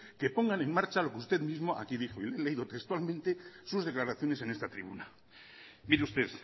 que pongan en marcha lo que usted misma aquí mismo dijo he leído textualmente sus declaraciones en esta tribuna mire usted